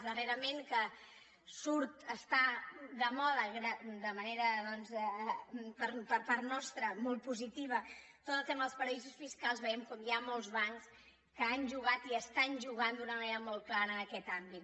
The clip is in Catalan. darrerament que està de moda per part nostra molt positiva tot el tema dels paradisos fiscals veiem com hi ha molts bancs que han jugat i estan jugant d’una manera molt clara en aquest àmbit